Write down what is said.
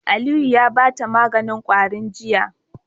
Aliyu ya bata maganin kwarin jiya